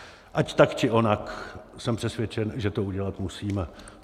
Ať tak či onak, jsem přesvědčen, že to udělat musíme.